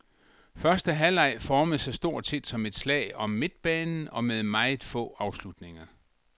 Første halvleg formede sig stort set som et slag om midtbanen og med meget få afslutninger.